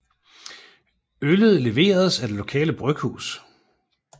Øllet leveres af det lokale bryghus